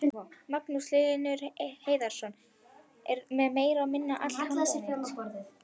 Magnús Hlynur Hreiðarsson: Er þetta meira og minna allt handónýtt?